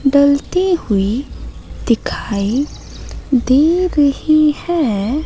डलती हुई दिखाई दे रही है।